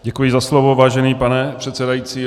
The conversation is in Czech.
Děkuji za slovo, vážený pane předsedající.